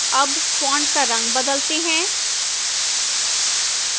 अब font का रंग बदलते हैं